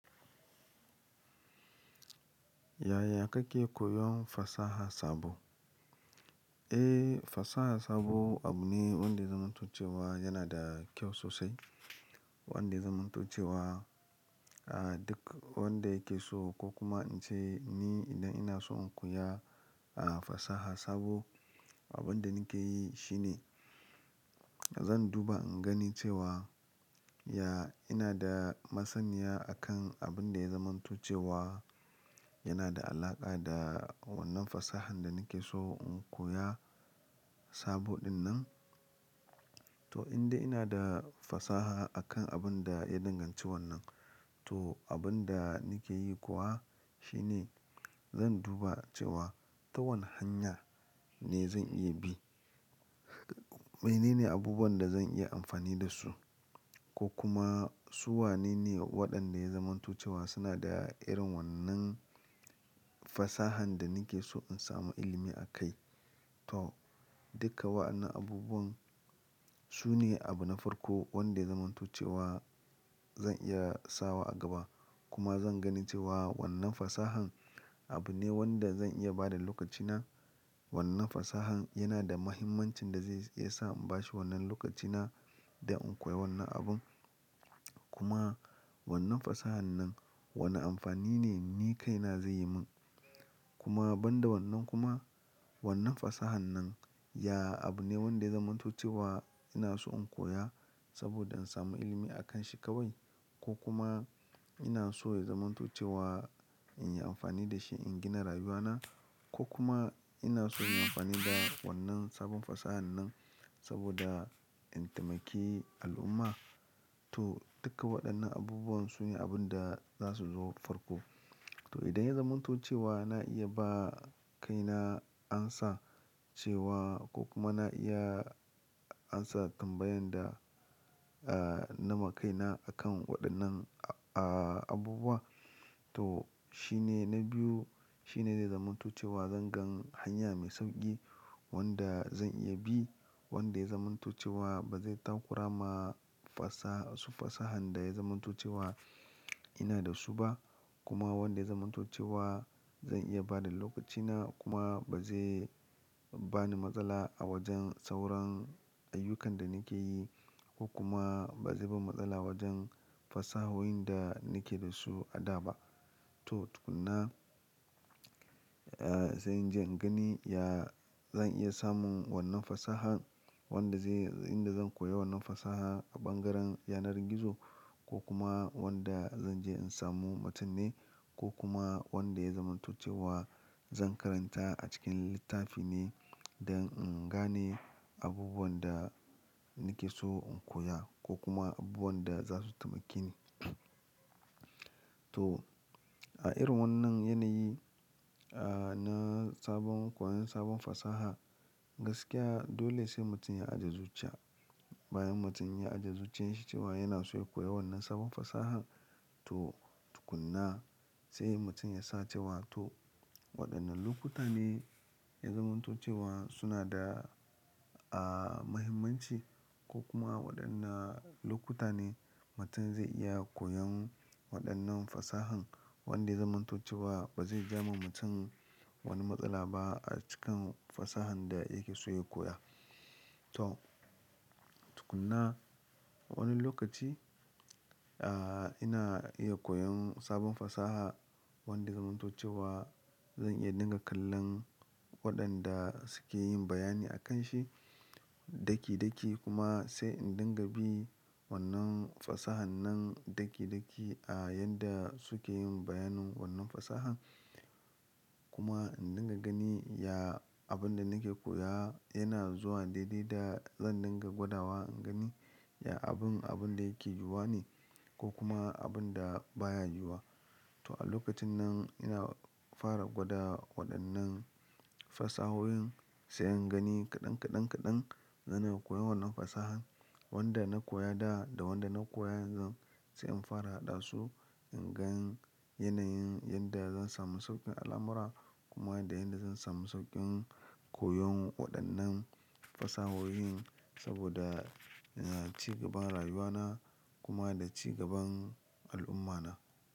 Yaya kake koyon fasaha sabo? Eh, fasaha sabo abu ne wanda yazanmanto cewa yana da kyau sosai. Wanda yazanmanto cewa, ah, duk wanda yake so ko kuma in ce ni idan ina so in koya, ah, fasaha sabo, abin da nake yi shine zan duba in gani cewa, ya, ina da masaniya a kan abin da ya zamanto cewa yana da alaƙa da wannan fasahan da nake so in koya sabo dinnan. To in da ina da fasaha akan abin da ya danganci wannan, to abin da nake yi kuwa shine zan duba cewa ta wane hanya ne zan iya bi. Maine ne abubuwan da zan iya amfani da su ko kuma su wane ne waɗanda ya zamanto cewa suna da irin wannan fasahan da nake so in samu ilimi a kai. To duka wa'annan abubuwan sune abu na farko wanda yazan manto cewa zan iya sawa a gaba kuma zan gani cewa wannan fasahan abu ne wanda zan iya ba da lokacina. Wannan fasahan yana da mahimmancin da zai iya sa in bashi wannan lokacina da in koya wannan abun. Kuma wannan fasahan nan wane amfani ne ni kaina zai yi min. Kuma ban da wannan kuma wannan fasahan nan, ya, abu ne wanda yazan manto cewa ina so in koya saboda in samu ilimi a kan shi kawai ko kuma ina so ya zamanto cewa in yi amfani da shi in gina rayuwana ko kuma ina so in yi amfani da wannan sabon fasahan nan saboda in taimaki al'umma. To duka waɗannan abubuwan su ne abin da za su zo farko. To idan ya zamantucewa na iya ba kaina amsa cewa ko kuma na iya amsa tambayan da, ah, na ma kaina a kan waɗannan a-a-abubuwa, to shine na biyu shine dai zamanto cewa zan gan hanya mai sauƙi wanda zan iya bi. Wanda yazan manto cewa ba zai takura ma fasa-- su fasahan da ya zamanto cewa ina da su ba. Kuma wanda yazan manto cewa zan iya ba da lokacina kuma ba zai bani matsala a wajen sauran ayyukan da nake yi ko kuma ba zai ban matsala wajen fasahoyin da nake da su a da ba. To tukuna, ah, sai in je in gani, ya, zan iya samun wannan fasahan wanda zai-- inda zan koya wannan fasaha a ɓangaren yanar gizo ko kuma wanda zan je in samu mutum ne ko kuma wanda ya zamantucewa zan karanta a cikin littafi ne don in gane abubuwan da nake so in koya ko kuma abubuwan da za su taimake ni. To a irin wannan yanayi, ah, na sabon, koyon sabon fasaha, gaskiya dole sai mutum ya ajiye zuciya. Bayan mutum ya ajiye zuciyarshi cewa yana so ya koya wannan sabon fasahan, to tukuna sai mutum ya sa cewa to waɗannan lokuta ne ya zamanto cewa suna da, ah, mahimmanci ko kuma waɗannan lokuta ne mutum zai iya koyon waɗannan fasahan wanda zan manto cewa ba zai ja ma mutum wani matsala ba a cikin fasahan da yake so ya koya. To tukunna wani lokaci, ah, ina iya koyon sabon fasaha wanda yazan manto cewa zan iya dinga kallon waɗanda suke yin bayani a kan shi daki daki kuma sai in dinga bi wannan fasahan nan daki daki a yadda suke yin bayanin wannan fasahan. Kuma in dinga gani, ya, abin da nake koya yana zuwa daidai da zan dinga gwada wa in gani, ya, abun, abun da yake yuwa ne ko kuma abun da baya yuwa. To a lokacin nan ina fara gwada waɗannan fasahoyin sai in gani kaɗan kaɗan kaɗan zanai koya wannan fasahan. Wanda na koya da da wanda na koya yanzu sai in fara haɗa su, in gan yanayin yadda zan samu sauƙin al'amura kuma da yadda zan samu sauƙin koyon waɗannan fasahoyin saboda, ya, cigaban rayuwana kuma da cigaban al'ummata.